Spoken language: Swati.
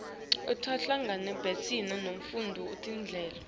lotawuhlangabetana netimfuno tetindlu